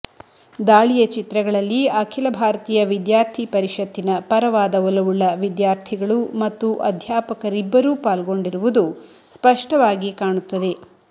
ದಾಳಿಯ ಚಿತ್ರಗಳಲ್ಲಿ ಅಖಿಲ ಭಾರತೀಯ ವಿದ್ಯಾರ್ಥಿ ಪರಿಷತ್ತಿನ ಪರವಾದ ಒಲವುಳ್ಳ ವಿದ್ಯಾರ್ಥಿಗಳು ಮತ್ತು ಅಧ್ಯಾಪಕರಿಬ್ಬರೂ ಪಾಲ್ಗೊಂಡಿರುವುದು ಸ್ಪಷ್ಟವಾಗಿ ಕಾಣುತ್ತದೆ